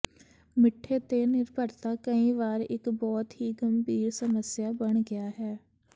ਮਿੱਠੇ ਤੇ ਨਿਰਭਰਤਾ ਕਈ ਵਾਰ ਇੱਕ ਬਹੁਤ ਹੀ ਗੰਭੀਰ ਸਮੱਸਿਆ ਬਣ ਗਿਆ ਹੈ